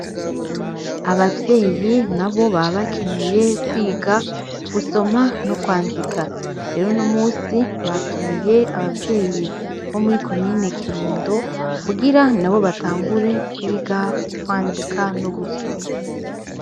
Abavyeyi nabo baba bakeneye kwiga gusoma no kwandika; rero uno munsi, batumiye abavyeyi bo muri komine kirundo, kugira nabo batangure kwiga kwandika no gusoma.